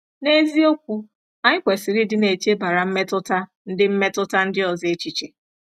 N’eziokwu, anyị kwesịrị ịdị na-echebara mmetụta ndị mmetụta ndị ọzọ echiche.